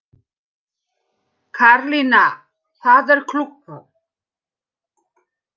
Karlinna, hvað er klukkan?